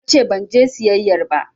Nace banje siyayyar ba